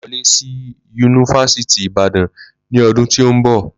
Ma wole Si yunifásítì Ibàdàn ni ọdún tí n bọ